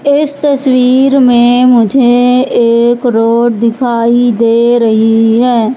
इस तस्वीर में मुझे एक रोड दिखाई दे रहीं हैं।